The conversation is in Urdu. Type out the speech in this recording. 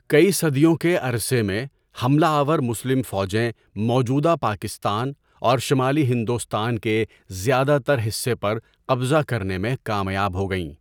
کئی صدیوں کے عرصے میں، حملہ آور مسلم فوجیں موجودہ پاکستان اور شمالی ہندوستان کے زیادہ تر حصے پر قبضہ کرنے میں کامیاب ہو گئیں۔